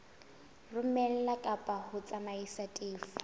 romela kapa ho tsamaisa tefo